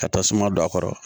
Ka tasuma don a kɔrɔ